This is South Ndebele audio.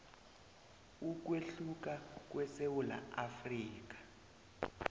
ukwehluka kwesewula afrika